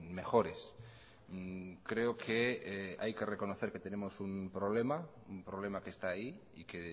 mejores creo que hay que reconocer que tenemos un problema un problema que está ahí y que